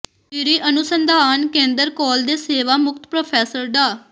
ਜੀਰੀ ਅਨੁਸੰਧਾਨ ਕੇਂਦਰ ਕੌਲ ਦੇ ਸੇਵਾ ਮੁਕਤ ਪ੍ਰੋਫੈਸਰ ਡਾ